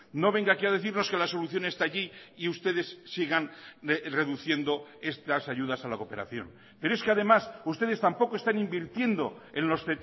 no venga aquí a decirnos que la solución está allí y ustedes sigan reduciendo estas ayudas a la cooperación pero es que además ustedes tampoco están invirtiendo en los